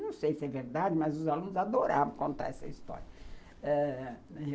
Não sei se é verdade, mas os alunos adoravam contar essa história ãh